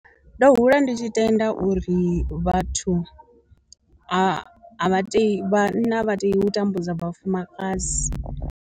Ndo dzula ndi tshi tenda uri vhathu a vha tei vhanna a vha tei u tambudza vhafumakadzi.